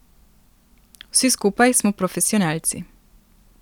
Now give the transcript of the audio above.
Vsi skupaj smo profesionalci.